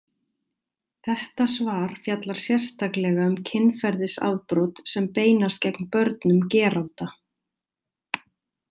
Þetta svar fjallar sérstaklega um kynferðisafbrot sem beinast gegn börnum geranda.